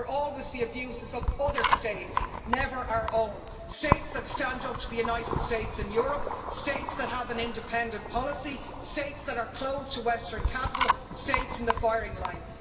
They're always the abuses of other states, never our own states that stand up to the United States and Europe, states that have an independent policy, states that are closed to Western capital, states in the firing line.